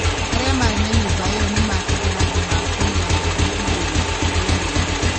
Arĩa maarĩ na nyũmba ĩyo nĩ maakĩte handũ ha kũiga ngaari igũrũ rĩa rũũĩ.